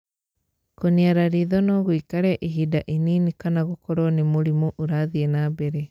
Kũniara ritho no gũikare ihinda inini kana gũkorwo nĩ mũrimũ ũrathiĩ na mbere.